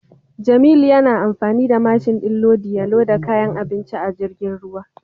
Jamilu yana amfani da mashin din lodi ya loda kayan abinci a jirgin ruwa.